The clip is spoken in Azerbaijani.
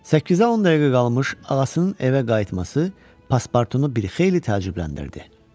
Səkkizə 10 dəqiqə qalmış ağasının evə qayıtması paspartunu bir xeyli təəccübləndirdi.